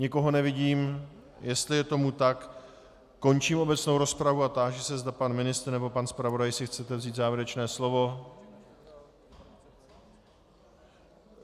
Nikoho nevidím, jestli je tomu tak, končím obecnou rozpravu a táži se, zda pan ministr nebo pan zpravodaj si chcete vzít závěrečné slovo.